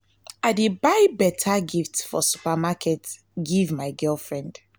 i dey buy beta gift from supermarket give my girlfriend.